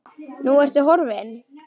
Og nú ertu horfin.